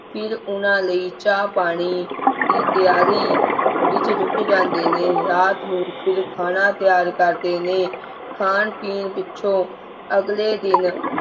ਫਿਰ ਉਹਨਾਂ ਲਈ ਚਾਹ ਪਾਣੀ ਦੀ ਤਿਆਰੀ ਵਿੱਚ ਰੁੱਝ ਜਾਂਦੇ ਨੇ ਰਾਤ ਨੂੰ ਫਿਰ ਖਾਣਾ ਤਿਆਰ ਕਰਦੇ ਨੇ ਖਾਣ ਪੀਣ ਪਿੱਛੋਂ ਅਗਲੇ ਦਿਨ